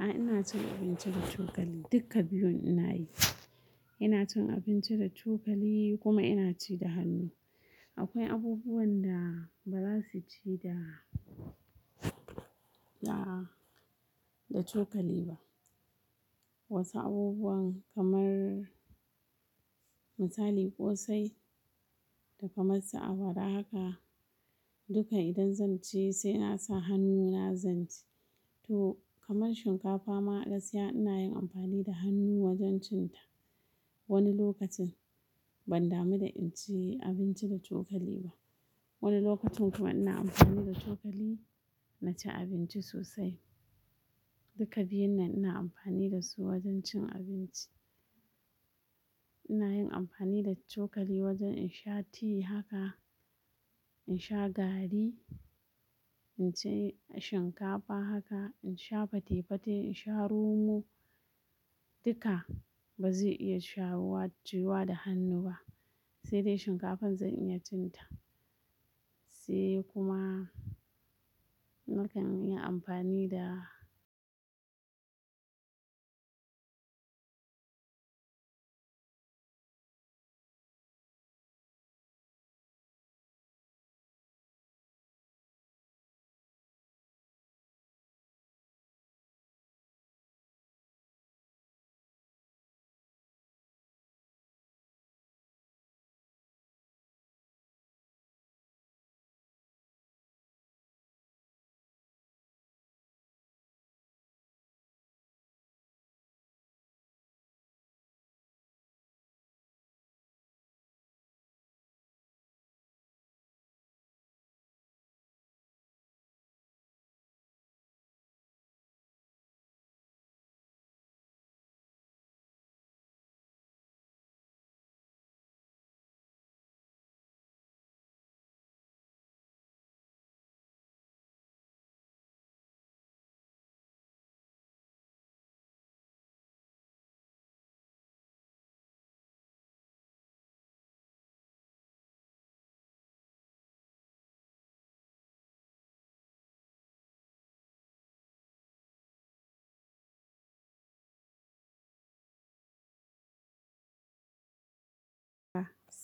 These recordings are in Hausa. A'a ina cin abinci da cokali dukka biyun ina yi. Ina cin abinci da cokali kuma ina ci da hannu. Akwai abubuwan da ba za su ci da, da, da cokali ba. Wasu abubuwan kamar misali ƙosai da kamar su awara haka duka idan zan ci sai na sa hannu na zan ci. To kamar shinkafa ma a gaskiya ina yin amfani da hannu wajen cin ta. Wani lokacin ban damu da in ci abinci da cokali ba. Wani lokacin kuma ina amfani da cokali na ci abinci sosai. Duka biyun nan ina amfani da su wajen cin abinci. Ina yin amfani da cokali wajen in sha ti haka, in sha garri, in ci shinkafa haka, in sha fate-fate, in sha romo duka ba zai iya sha wuwa, ci yuwa da hannu ba sai dai shinkafan zan iya cin ta. Sai kuma nakan yi amfani da--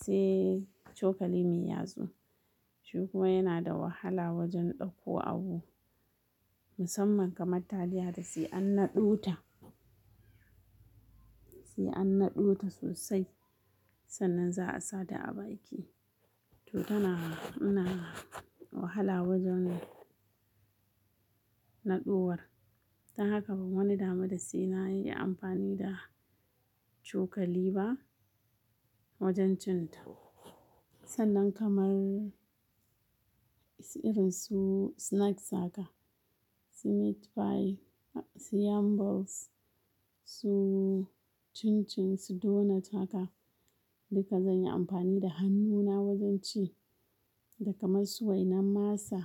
sai cokali mai ya tsu. Shi kuma yana da wahala wajen ɗauko abu. Musamman kamar taliya hakasai an naɗo ta, sai an naɗo ta sosai sannan za a sa ta a baki. To tana, yana wahala wajen naɗowar. Don haka ban wani damu da sai na yi amfani da cokali ba wajen cin ta. Sannan kamar irin su snacks haka, su meat pie, su yamballs, su cin-cin, su donut haka duka zan yi amfani da hannuna wajen ci. Da kamar su wainan masa,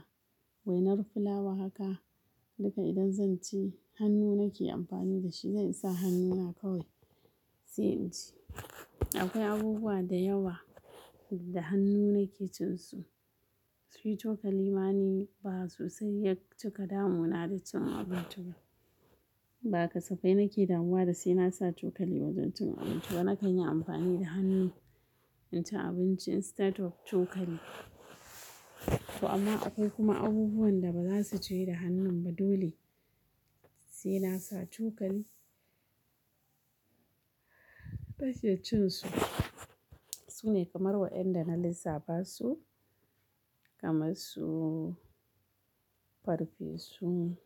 wainar fulawa haka duka idan zan ci hannu nake amfani da shi zan sa hannuna kawai sai in ci. Akwai abubuwa da yawa da hannu nake cin su. Shi cokali ma ni ba sosai yak cika damuna da cin abinci ba. Ba kasafai nake damuwa da sai na sa cokali wajen cin abinci ba nakan yi amfani da hannu in ci abinci instead of cokali. To amma akwai kuma abubuwan da ba za su je da hannun ba dole sai na sa cokali. Nake cin su. Sune kamar wa'yanda na lissafa su kamar su farfesu,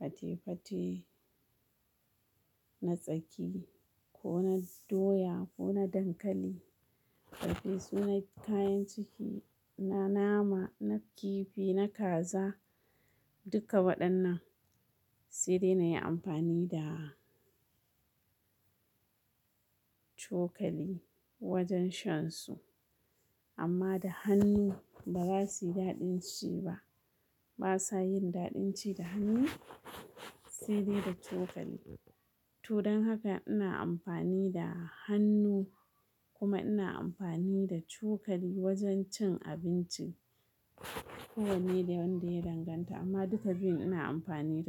fate-fate na tsaki ko na doya ko na dankali. Farfesu na kayan ciki, na nama, na kifi, na kaza duka waɗannan sai dai na yi amfani da cokali wajen shan su. Amma da hannu ba za su yi daɗin ci ba. Ba sa yin daɗin ci da hannu sai dai da cokali. To don haka ina amfani da hannu kuma ina amfani da cokali wajen cin abinci. Kowane da wanda ya danganta amma duka biyun ina amfani da su.